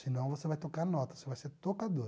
Senão você vai tocar nota, você vai ser tocador.